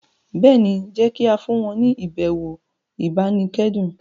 béèni jé ki a fún wọn ni ibẹwo ibanikẹdun.